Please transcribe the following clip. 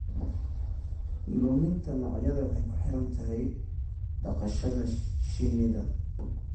Luminta noocyada waxay ku xiran tahay dhaqashada shinida.